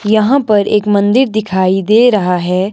यहां पर एक मंदिर दिखाई दे रहा है।